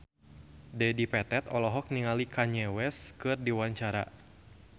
Dedi Petet olohok ningali Kanye West keur diwawancara